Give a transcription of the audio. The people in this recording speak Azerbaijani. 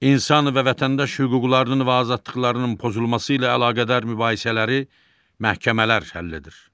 İnsan və vətəndaş hüquqlarının və azadlıqlarının pozulması ilə əlaqədar mübahisələri məhkəmələr həll edir.